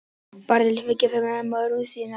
Barnið lifði og var gefið nafn móður sinnar.